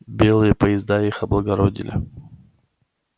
белые поезда их облагородили